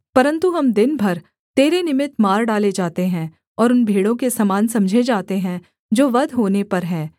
परन्तु हम दिन भर तेरे निमित्त मार डाले जाते हैं और उन भेड़ों के समान समझे जाते हैं जो वध होने पर हैं